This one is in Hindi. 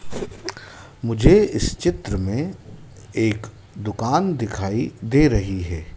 मुझे इस चित्र में एक दुकान दिखाई दे रही है।